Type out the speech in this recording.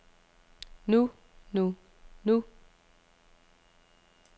nu nu nu